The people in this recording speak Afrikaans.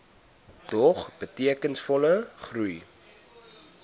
dog betekenisvolle groei